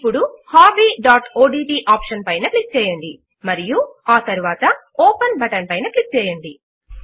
ఇప్పుడు hobbyఓడ్ట్ ఆప్షన్ పైన క్లిక్ చేయండి మరియు ఆ తరువాత ఓపెన్ బటన్ పైన క్లిక్ చేయండి